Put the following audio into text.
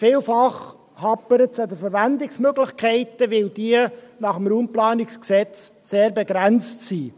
Vielfach hapert es an den Verwendungsmöglichkeiten, weil diese nach dem Bundesgesetz über die Raumplanung (Raumplanungsgesetz, RPG) sehr begrenzt sind.